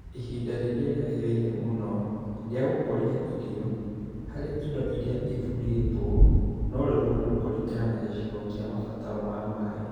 Ihinda rĩrĩa rĩagĩrĩire mũno rĩa gũkũria irio harĩ indo irĩa ithurĩtwo no rĩrorũo kũringana na gĩcigo kĩa mabataro ma maĩ